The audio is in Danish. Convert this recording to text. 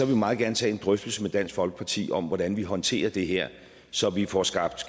vi meget gerne tage en drøftelse med dansk folkeparti om hvordan vi håndterer det her så vi får skabt